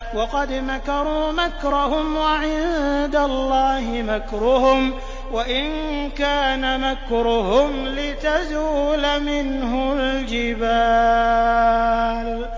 وَقَدْ مَكَرُوا مَكْرَهُمْ وَعِندَ اللَّهِ مَكْرُهُمْ وَإِن كَانَ مَكْرُهُمْ لِتَزُولَ مِنْهُ الْجِبَالُ